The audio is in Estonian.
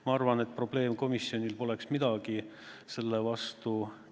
Ma arvan, et probleemkomisjonil poleks midagi selle vastu.